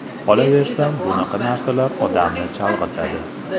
Qolaversa, bunaqa narsalar odamni chalg‘itadi.